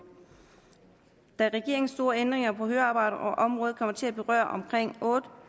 da regeringens store ændringer på høreapparatområdet kommer til at berøre omkring